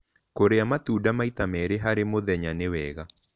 Kũrĩa matunda maĩta merĩ harĩ mũthenya nĩ wega